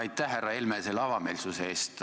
Aitäh, härra Helme, selle avameelsuse eest!